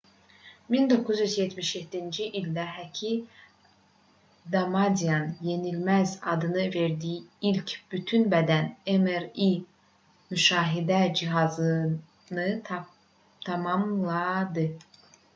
1977-ci ildə həki damadian yenilməz adını verdiyi ilk bütün bədən mri müşahidə cihazını tamamladı